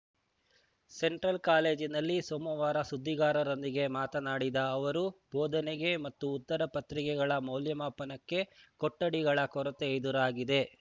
central ಕಾಲೇಜಿನಲ್ಲಿ ಸೋಮವಾರ ಸುದ್ದಿಗಾರರೊಂದಿಗೆ ಮಾತನಾಡಿದ ಅವರು ಬೋಧನೆಗೆ ಮತ್ತು ಉತ್ತರ ಪತ್ರಿಕೆಗಳ ಮೌಲ್ಯಮಾಪನಕ್ಕೆ ಕೊಠಡಿಗಳ ಕೊರತೆ ಎದುರಾಗಿದೆ